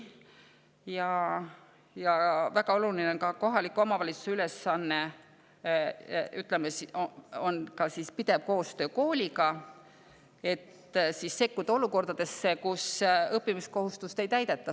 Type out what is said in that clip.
Ja väga oluline kohaliku omavalitsuse ülesanne on ka pidevalt koostööd kooliga, et sekkuda olukordadesse, kus õppimiskohustust ei täideta.